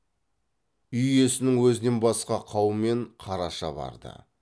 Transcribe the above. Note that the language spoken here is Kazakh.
үй иесінің өзінен басқа қаумен қараша барды